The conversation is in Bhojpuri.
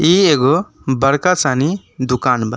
इ एगो बड़का सानी दुकान बा।